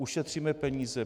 Ušetříme peníze.